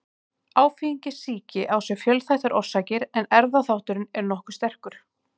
Áfengissýki á sér fjölþættar orsakir en erfðaþátturinn er nokkuð sterkur.